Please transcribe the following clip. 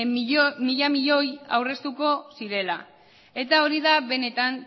mila milioi aurreztuko zirela eta hori da benetan